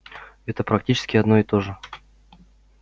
это практически одно и то же